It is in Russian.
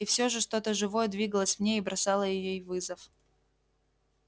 и всё же что то живое двигалось в ней и бросало ей вызов